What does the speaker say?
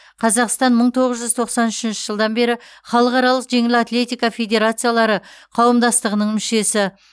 қазақстан мың тоғыз жүз тоқсан үшінші жылдан бері халықаралық жеңіл атлетика федерациялары қауымдастығының мүшесі